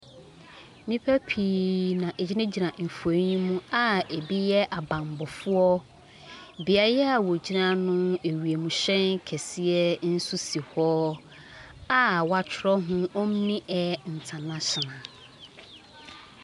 Nnipa pii na wɔgyinagyina mfonin yi mu a ɛbi yɛ abammɔfoɔ. Beaeɛ a wɔgyina no, wiemhyɛn kɛseɛ nso si hɔ, a wɔatwerɛ ho "Only Air International.".